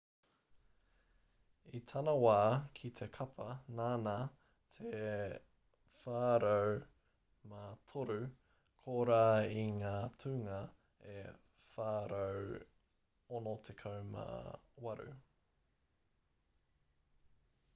i tana wā ki te kapa nāna te 403 kōrā i ngā tūnga e 468